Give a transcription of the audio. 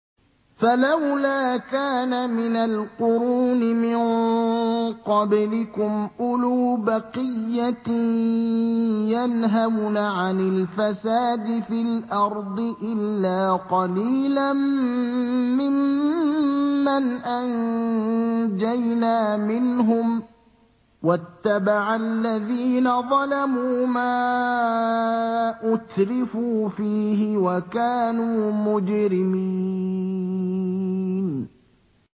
فَلَوْلَا كَانَ مِنَ الْقُرُونِ مِن قَبْلِكُمْ أُولُو بَقِيَّةٍ يَنْهَوْنَ عَنِ الْفَسَادِ فِي الْأَرْضِ إِلَّا قَلِيلًا مِّمَّنْ أَنجَيْنَا مِنْهُمْ ۗ وَاتَّبَعَ الَّذِينَ ظَلَمُوا مَا أُتْرِفُوا فِيهِ وَكَانُوا مُجْرِمِينَ